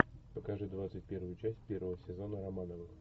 покажи двадцать первую часть первого сезона романовых